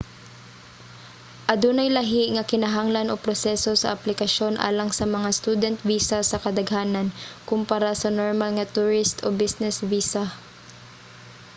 adunay lahi nga kinahanglan o proseso sa aplikasyon alang sa mga student visa sa kadaghanan kompara sa normal nga tourist o business visa